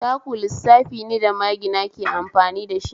Taku lissafi ne da magina ke amfani dashi